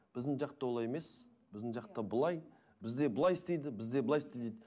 біздің жақта олай емес біздің жақта былай бізде былай істейді бізде былай істейді